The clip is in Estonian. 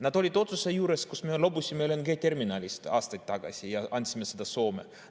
Nad olid otsuse juures, kui me loobusime LNG‑terminalist aastaid tagasi ja andsime selle Soome.